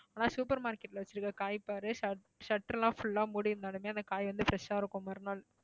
ஆனா super market ல வச்சிருக்கிற காய் பாரு shut~ shutter எல்லாம் full ஆ மூடி இருந்தாலுமே அந்த காய் வந்து fresh ஆ இருக்கும் மறுநாள்